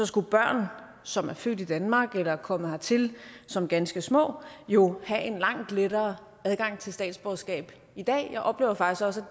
skulle børn som er født i danmark eller er kommet hertil som ganske små jo have en langt lettere adgang til statsborgerskab i dag jeg oplever faktisk også